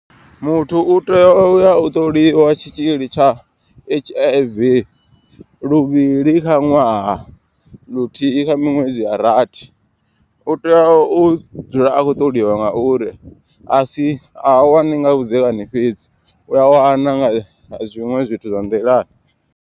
Muthu u tea uya u ṱoliwa tshitzhili tsha H_I_V luvhili kha ṅwaha. Luthihi kha miṅwedzi ya rathi u tea u dzula a khou ṱoliwa. Ngauri a si ha wani nga vhudzekani fhedzi u a wana nga zwiṅwe zwithu zwa nḓilani.